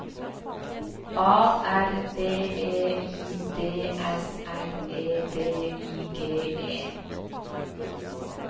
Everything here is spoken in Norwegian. A R B E I D S L E D I G E